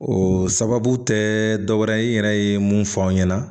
O sababu tɛ dɔwɛrɛ ye i yɛrɛ ye mun fɔ an ɲɛna